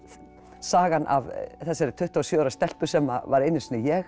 sagan af þessari tuttugu og sjö ára stelpu sem var einu sinni ég